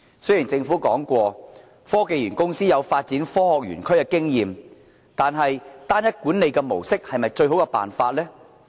雖然政府表示科技園公司有發展科學園區的經驗，但單一管理的模式是否最好的做法？